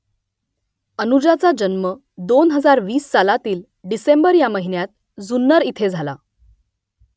अनुजाचा जन्म दोन हजार वीस सालातील डिसेंबर ह्या महिन्यात जुन्नर इथे झाला